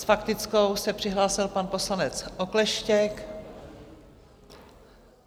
S faktickou se přihlásil pan poslanec Okleštěk.